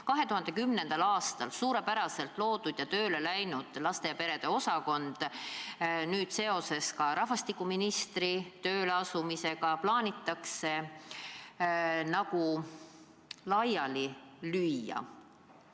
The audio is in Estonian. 2010. aastal loodud ja suurepäraselt tööle hakanud laste ja perede osakond plaanitakse seoses rahvastikuministri tööleasumisega laiali lüüa.